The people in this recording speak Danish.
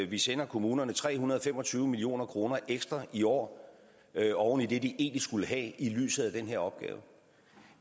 vi sender kommunerne tre hundrede og fem og tyve million kroner ekstra i år oven i det de egentlig skulle have i lyset af den her opgave